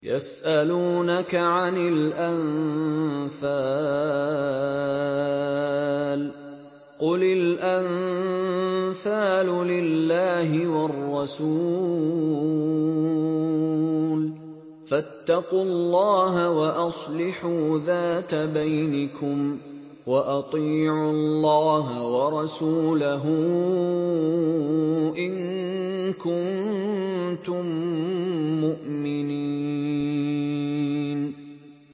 يَسْأَلُونَكَ عَنِ الْأَنفَالِ ۖ قُلِ الْأَنفَالُ لِلَّهِ وَالرَّسُولِ ۖ فَاتَّقُوا اللَّهَ وَأَصْلِحُوا ذَاتَ بَيْنِكُمْ ۖ وَأَطِيعُوا اللَّهَ وَرَسُولَهُ إِن كُنتُم مُّؤْمِنِينَ